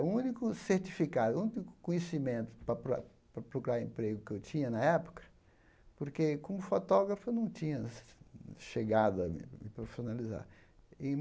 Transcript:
o único certificado, o único conhecimento para proc para procurar emprego que eu tinha na época, porque, como fotógrafo, eu não tinha che chegado a me me profissionalizar.